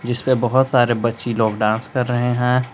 इसमें बहुत सारे बच्ची लोग डांस कर रहे हैं।